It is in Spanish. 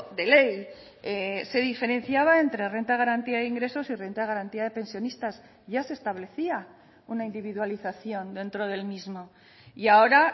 de ley se diferenciaba entre renta de garantía de ingresos y renta de garantía de pensionistas ya se establecía una individualización dentro del mismo y ahora